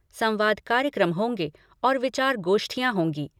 संवाद कार्यक्रम होंगे और विचार गोष्ठियाँ होंगी।